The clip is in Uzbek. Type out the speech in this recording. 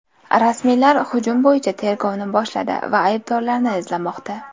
Rasmiylar hujum bo‘yicha tergovni boshladi va aybdorlarni izlamoqda.